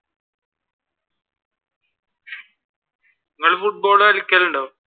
നിങ്ങൾ ഫുട്ബോൾ കളിക്കലുണ്ടോ?